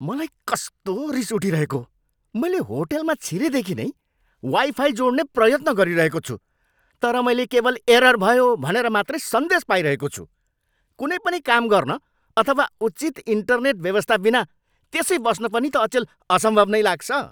मलाई कस्तो रिस उठिरहेको! मैले होटलमा छिरेदेखि नै वाइफाइ जोड्ने प्रयत्न गरिरहेको छु तर मैले केवल एरर भयो भनेर मात्रै सन्देश पाइरहेको छु। कुनै पनि काम गर्न अथवा उचित इन्टरनेट व्यवस्थाबिना त्यसै बस्न पनि त अचेल असम्भव नै लाग्छ।